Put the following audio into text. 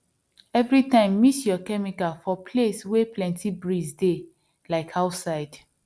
every time mix your chemical for place wey plenty breeze dey like outside